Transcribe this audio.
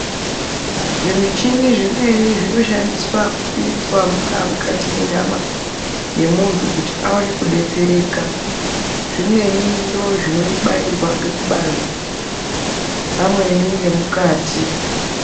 Zvimichini zvimweni zvinoshandiswa kupinzwa mungaa mukati menyama yemuntu kuti awane kudetsereka zvimweni ndoo zvinobairwa ngekubanzi pamweni ngemukati.